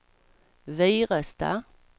Virestad